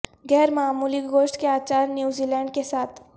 غیر معمولی گوشت کے اچار نیوزی لینڈ کے ساتھ